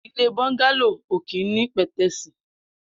Ilé bọngàló ó kin ni pẹtẹẹsi